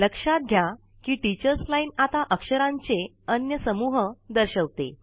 लक्षात घ्याकि teachers line आता अक्षरांचे अन्य समूह दर्शवते